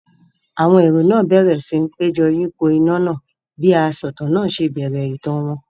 Àwọn èrò bẹ̀rẹ̀ síi péjọ yípo iná náà bí asọ̀tàn náà ṣe bẹ̀rẹ̀ ìtàn wọn.